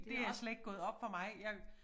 Det er slet ikke gået op for mig jeg